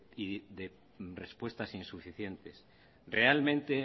y de respuestas insuficientes realmente